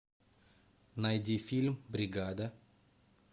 найди фильм бригада